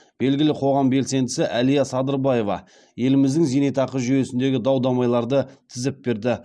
белгілі қоғам белсендісі әлия садырбаева еліміздің зейнетақы жүйесіндегі дау дамайларды тізіп берді